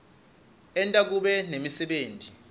enta kube nemisebenti